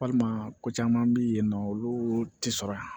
Walima ko caman bɛ yen nɔ olu tɛ sɔrɔ yan